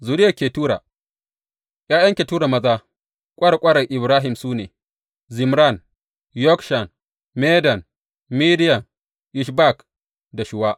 Zuriyar Ketura ’Ya’yan Ketura maza, ƙwarƙwarar Ibrahim su ne, Zimran, Yokshan, Medan, Midiyan, Ishbak da Shuwa.